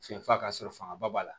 Senfa ka sɔrɔ fanga ba b'a la